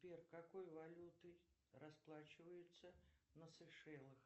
сбер какой валютой расплачиваются на сейшелах